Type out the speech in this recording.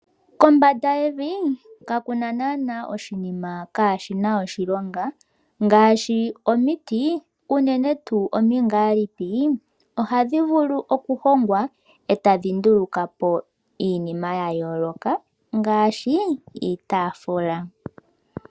Kombanda yevi, kakuna naaana oshinima kashi na oshilonga, ngaashi omiti, unene tuu omingaalipi, ohadhi vulu okuhongwa eta dhi ndulukapo iinima ya yooloka, ngaashi iitaafula.